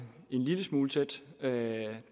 er det